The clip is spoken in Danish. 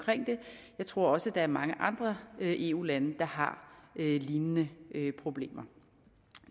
det jeg tror også at der er mange andre eu lande der har lignende problemer